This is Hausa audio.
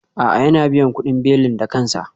A'a, yana biyan kudin belin da kansa